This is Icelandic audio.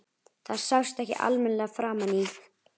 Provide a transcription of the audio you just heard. Það sást ekki almennilega framan í